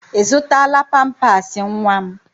Ị zụtala pampaasị nwa m?